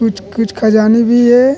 कुछ - कुछ ख़जाने भी है।